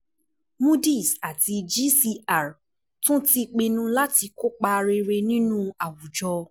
cs] Moody's àti GCR tún ti pinnu láti kó ipa rere nínú àwùjọ.